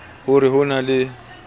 ho re ho na le